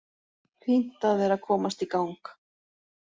Fínt að vera að komast í gang.